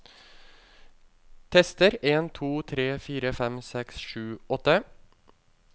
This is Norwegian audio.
Tester en to tre fire fem seks sju åtte